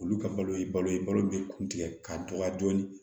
Olu ka balo ye balo ye balo bɛ kun tigɛ k'a dɔgɔya joona